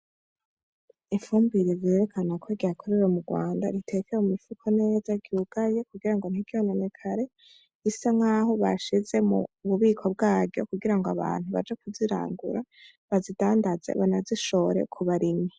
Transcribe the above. Ifumbire ryerekana ko ryakorewe m'urwanda ritekewe m'umufuko neza ryugaye kugira ngo ntiryononekare, risa nkaho bashize mu bubiko bwaryo kugira abantu baje kuzirangura bazidandaze banazishore kubarimyi.